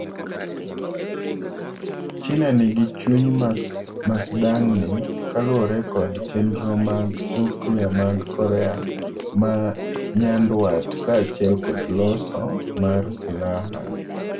"China nigi chuny masdang'ni kaluore kod chenro mg nuklia mag Korea ma nyandwat ka achiel kod loso mar silaha".